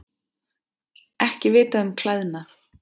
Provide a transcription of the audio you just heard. Ekki vitað um klæðnað